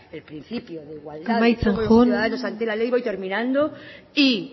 el principio de igualdad amaitzen joan de todos los ciudadanos ante la ley voy terminando y